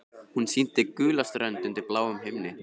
Hún sýndi gula strönd undir bláum himni.